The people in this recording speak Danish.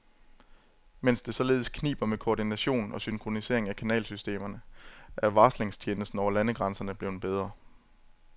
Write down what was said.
Mens det således kniber med koordination og synkronisering af kanalsystemerne, er varslingstjenesten over landegrænserne blevet bedre.